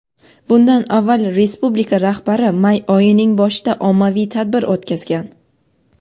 Bundan avval respublika rahbari may oyining boshida ommaviy tadbir o‘tkazgan.